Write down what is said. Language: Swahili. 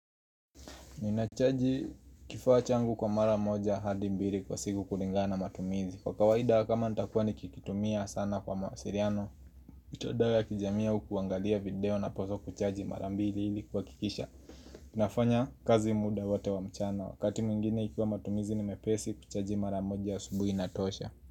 Ninachaji kifaa changu kwa mara moja hadi mbili kwa siku kulingana na matumizi. Kwa kawaida kama nitakuwa nikikitumia sana kwa mawasiliano mitandao ya kijamii au kuangalia video napswa kuchaji mara mbili ili kuhakikisha nafanya kazi muda wote wa mchana. Wakati mwingine ikiwa matumizi ni mepesi kuchaji mara moja asubuhi inatosha.